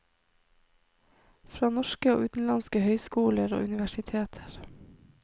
Fra norske og utenlandske høyskoler og universiteter.